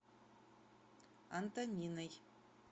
антониной